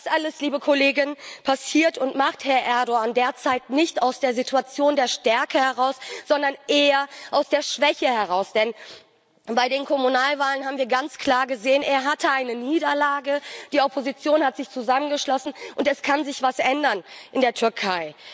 Das alles passiert, und Herr Erdoğan agiert derzeit nicht aus der Situation der Stärke heraus, sondern eher aus der Schwäche, denn bei den Kommunalwahlen haben wir ganz klar gesehen Er hatte eine Niederlage, die Opposition hat sich zusammengeschlossen, und es kann sich etwas ändern in der Türkei.